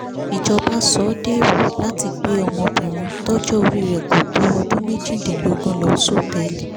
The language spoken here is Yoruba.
ìjọba sọ ọ́ déèwọ̀ láti gbé ọmọbìnrin tọjọ́ orí rẹ̀ kó tó ọdún méjìdínlógún lọ sọtẹ́ẹ̀lì